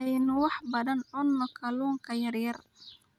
Aynu wax badan cunno kalunka yaryar